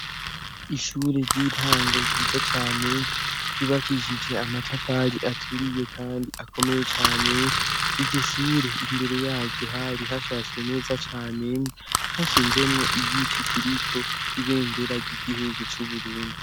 Ishure ry'intango ryiza cane ryubakishije amatafari aturiye, kandi akomeye cane iryo shure imbere yaryu hari hashashwe neza cane nhashinzemwo iyitikiriko ibendera ry'igihugu c'uburungi.